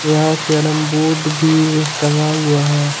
यहां carrom board भी टंगा हुआ हैं।